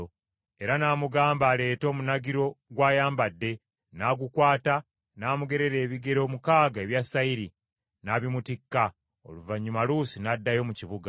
Era n’amugamba aleete omunagiro gw’ayambadde; n’agukwata, n’amugerera ebigero mukaaga ebya sayiri, n’abimutikka, oluvannyuma Luusi n’addayo mu kibuga.